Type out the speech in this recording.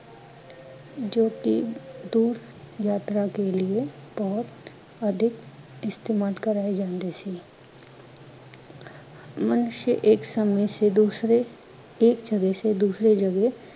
ਜੋ ਕਿ ਦੂਰ ਯਾਤਰਾ ਕੇ ਲਿਏ ਬਹੁਤ ਅਧਿਕ ਈਸਤੇਮਾਲ ਕਰਾਏ ਜਾਂਦੇ ਸੀ। ਮਨੁਸ਼ਯ ਏਕ ਸਮੇਂ ਸੇ ਦੂਸਰੇ, ਏਕ ਜਗਿਹ ਸੇ ਦੂਸਰੇ ਜਗਿਹ